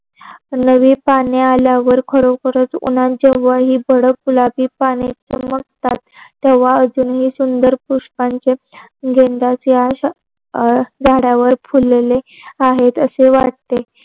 नवी पाने आल्यावर खरोखरच उन्ह्याचे वय हि भर गुलाबी पाने बहरतात तेव्हा अजूनही सुंदर पुष्पांचे झाडावर फुललेले आहेत असे वाटते